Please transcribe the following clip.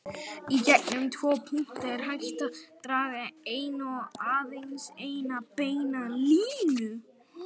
Í gegnum tvo punkta er hægt að draga eina og aðeins eina beina línu.